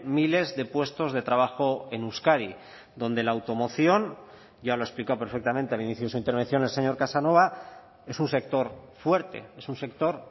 miles de puestos de trabajo en euskadi donde la automoción ya lo ha explicado perfectamente al inicio de su intervención el señor casanova es un sector fuerte es un sector